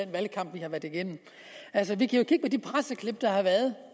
valgkamp vi har været igennem vi kan kigge på de presseklip der har været